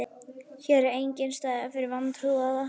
Hér er enginn staður fyrir vantrúaða.